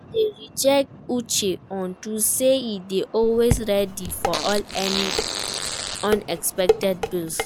I dey respect Uche unto say e dey always ready for any unexpected bill